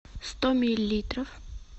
сто миллилитров